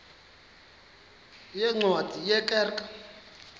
yeencwadi ye kerk